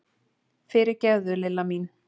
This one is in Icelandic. Fyrirgefðu, Lilla mín!